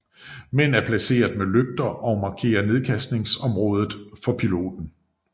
Mænd er placeret med lygter og markerer nedkastningsområdet for piloten